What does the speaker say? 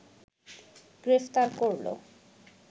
গ্রেফতার করল